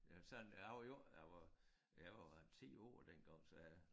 Øh sådan og jeg var jo ikke jeg var jeg var jo 10 år dengang så